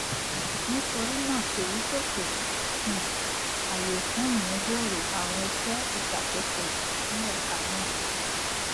nítorí náà èyí pèsè um àyè fún ìmúgbòro àwọn iṣé ìṣàkóso ní ẹka náà